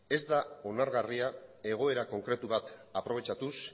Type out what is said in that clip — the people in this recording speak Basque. ez da onargarria egoera konkretu bat aprobetxatuz